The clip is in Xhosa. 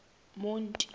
monti